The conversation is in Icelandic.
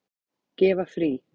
Gefa frí.